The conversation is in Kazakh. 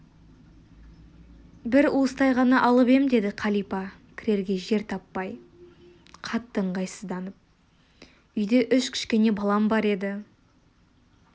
бір уыстай ғана алып ем деді қалипа кірерге жер таппай қатты ыңғайсызданып үйде үш кішкене балам бар еді